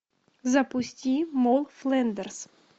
запусти молл флэндерс